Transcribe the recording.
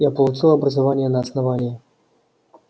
я получил образование на основании